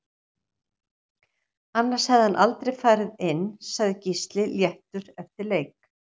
Annars hefði hann aldrei farið inn Sagði Gísli léttur eftir leik